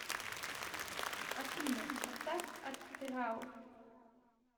афина поставь атрау